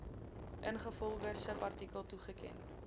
ingevolge subartikel toegeken